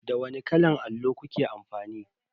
Da wani kalan allo kuke amfani?